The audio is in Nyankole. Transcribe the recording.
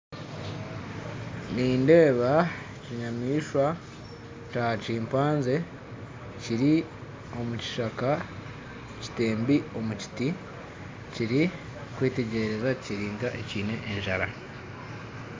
Nindeeba enyamaishwa ya kimpanze eri omu kishaka etembi omu muti erikwetegyereza eri nk'eine enjara